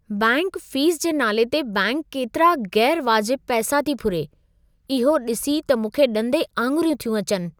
Bank fees जे नाले ते बैंक केतिरा ग़ैरु वाजिबु पैसा थी फुरे, इहो ॾिसी त मूंखे ॾंदे आङिरियूं थियूं अचिनि!